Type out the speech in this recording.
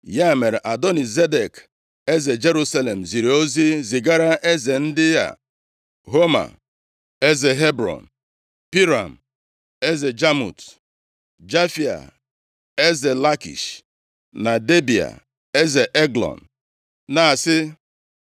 Ya mere, Adoni-Zedek, eze Jerusalem ziri ozi zigara eze ndị a: Homa, eze Hebrọn, Piram, eze Jamut, Jafia, eze Lakish, na Debịa, eze Eglọn, na-asị,